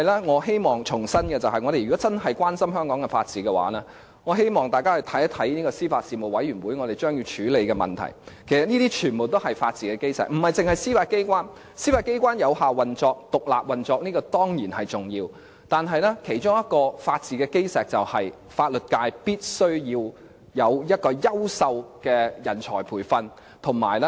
我希望重申的是，如果大家真心關注香港法治的話，就必須看看司法及法律事務委員會將要處理的問題，因為這些全都是法治的基石；當中不單包括司法機關的有效運作、獨立運作，這當然是重要的，而其中一個法治的基石便是法律界必須要有優秀的人才培訓。